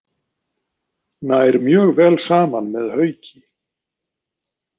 Nær mjög vel saman með Hauki.